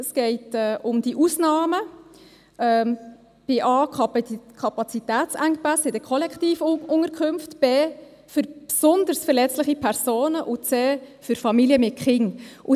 Es geht um die Ausnahmen, bei Buchstabe a um Kapazitätsengpässe bei Kollektivunterkünften, bei Buchstabe b um besonders verletzliche Personen und bei Buchstabe c um Familien mit Kindern.